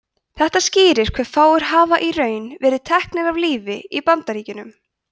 þetta skýrir hve fáir hafa í raun verið teknir af lífi í bandaríkjunum